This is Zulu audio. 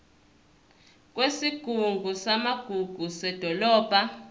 kwesigungu samagugu sedolobha